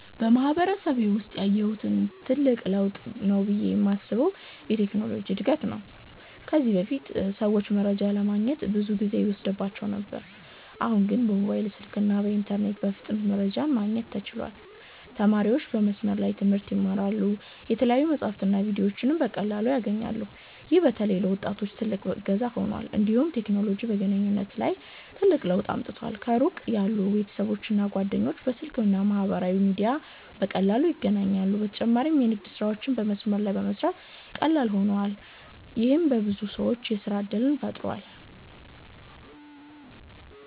በማህበረሰቤ ውስጥ ያየሁት እና ትልቅ ለውጥ ነው ብዬ የማስበው የቴክኖሎጂ እድገት ነው። ከዚህ በፊት ሰዎች መረጃ ለማግኘት ብዙ ጊዜ ይወስድባቸው ነበር፤ አሁን ግን በሞባይል ስልክና በኢንተርኔት በፍጥነት መረጃ ማግኘት ተችሏል። ተማሪዎች በመስመር ላይ ትምህርት ይማራሉ፣ የተለያዩ መጻሕፍትና ቪዲዮዎችንም በቀላሉ ያገኛሉ። ይህ በተለይ ለወጣቶች ትልቅ እገዛ ሆኗል። እንዲሁም ቴክኖሎጂ በግንኙነት ላይ ትልቅ ለውጥ አምጥቷል። ከሩቅ ያሉ ቤተሰቦችና ጓደኞች በስልክ እና በማህበራዊ ሚዲያ በቀላሉ ይገናኛሉ። በተጨማሪም የንግድ ስራዎች በመስመር ላይ በመስራት ቀላል ሆነዋል፣ ይህም ለብዙ ሰዎች የሥራ እድል ፈጥሯል።